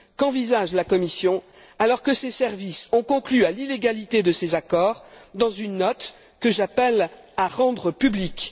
Qu'envisage la Commission alors que ses services ont conclu à l'illégalité de ces accords dans une note que j'appelle à rendre publique?